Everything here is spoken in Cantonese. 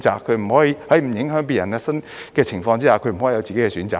在不影響別人的情況之下，他不可以有自己的選擇嗎？